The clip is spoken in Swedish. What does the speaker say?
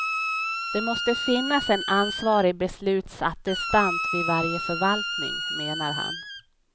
Det måste finnas en ansvarig beslutsattestant vid varje förvaltning, menar han.